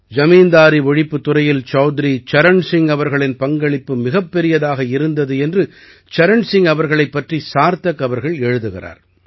ஜமீன்தாரி ஒழிப்புத்துறையில் சௌத்ரி சரண் சிங் அவர்களின் பங்களிப்பு மிகப் பெரியதாக இருந்தது என்று சரண் சிங் அவர்களைப் பற்றி சார்த்தக் அவர்கள் எழுதுகிறார்